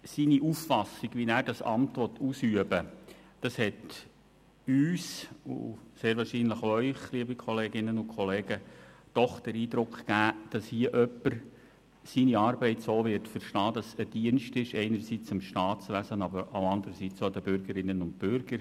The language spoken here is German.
Seine Auffassung, wie er das Amt ausüben möchte, hat uns und sehr wahrscheinlich auch Ihnen den Eindruck vermittelt, dass hier jemand seine Arbeit einerseits als Dienst am Staatswesen versteht, andererseits aber auch als Dienst an den Bürgerinnen und Bürgern.